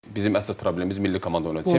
Bizim əsas problemimiz milli komanda oynadı.